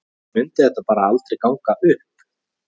Eða mundi þetta bara aldrei ganga upp?